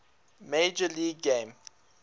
major league game